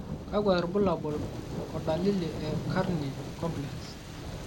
kakwa irbulabol o dalili e Carney complex?